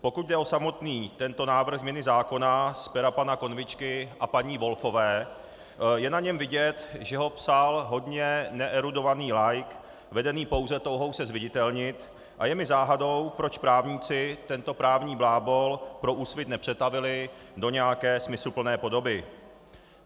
Pokud jde o samotný tento návrh změny zákona z pera pana Konvičky a paní Volfové, je na něm vidět, že ho psal hodně neerudovaný laik vedený pouze touhou se zviditelnit, a je mi záhadou, proč právníci tento právní blábol pro Úsvit nepřetavili do nějaké smysluplné podoby.